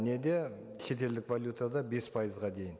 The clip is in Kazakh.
неде шетелдік валютада бес пайызға дейін